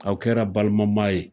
Aw kɛra balima ma ye.